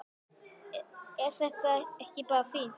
Er þetta ekki bara fínt?